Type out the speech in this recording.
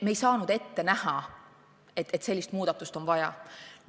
Me ei saanud ette näha, et sellist muudatust on vaja.